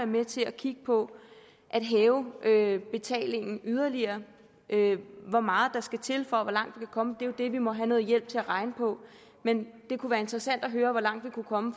med til at kigge på at hæve betalingen yderligere hvor meget der skal til og hvor langt vi kan komme er jo det vi må have noget hjælp til at regne på men det kunne være interessant at høre hvor langt vi kunne komme